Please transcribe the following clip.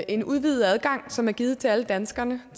en udvidet adgang som er givet til alle danskerne af